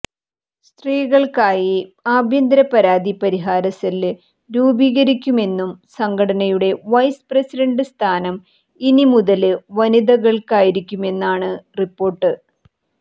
സ്ത്രീകള്ക്കായി ആഭ്യന്തര പരാതി പരിഹാര സെല് രൂപീകരിക്കുമെന്നും സംഘടനയുടെ വൈസ് പ്രസിഡന്റ് സ്ഥാനം ഇനിമുതല് വനിതകള്ക്കായിരിക്കുമെന്നാണ് റിപ്പോര്ട്ട്